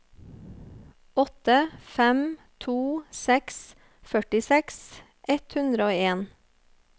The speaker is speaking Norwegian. åtte fem to seks førtiseks ett hundre og en